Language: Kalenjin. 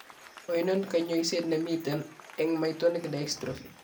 Oinon kanyoiseet nemiten eng' myotonic dystrophy?